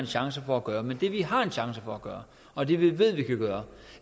chance for at gøre men det vi har en chance for at gøre og det vi ved vi kan gøre